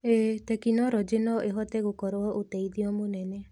ĩi, tekinoronjĩ no ĩhote gũkorwo ũteithio mũnene.